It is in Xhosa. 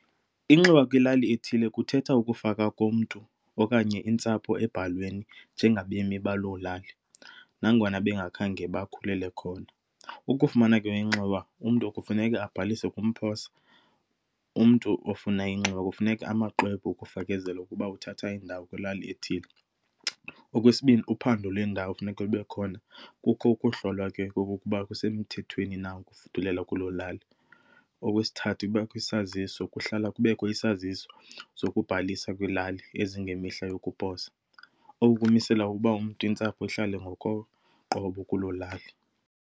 Inxiwa kwilali ethile kuthetha ukufaka komntu okanye intsapho embhalweni njengabemi baloo lali nangona bengakhange bakhulele khona. Ukufumana ke inxiwa umntu kufuneka abhalise . Umntu ofuna inxiwa kufuneka amaxwebu okufekezela ukuba uthatha indawo kwilali ethile. Okwesibini, uphando lendawo kufuneka libe khona. Kukho ukuhlolwa ke okokuba kusemthethweni na ukufudulela kuloo lali. Okwesithathu kubakho isaziso. Kuhlala kubekwe isaziso zokubhalisa kwilali ezingemihla yokuposa, oku kumisela uba umntu, intsapho, ihlale ngokoqobo kuloo lali.